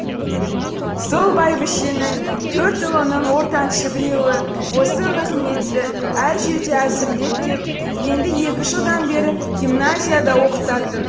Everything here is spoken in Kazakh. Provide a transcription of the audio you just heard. сол бәйбішенің төрт ұлының ортаншы біреуі осы нығыметті әр жерде әзірлеп кеп енді екі жылдан бері гимназияда оқытатын